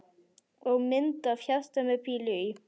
Og mynd af hjarta með pílu í.